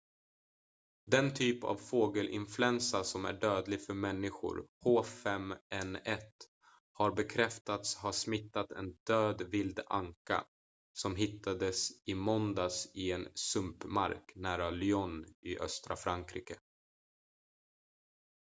den typ av fågelinfluensa som är dödlig för människor h5n1 har bekräftats ha smittat en död vild anka som hittades i måndags i en sumpmark nära lyon i östra frankrike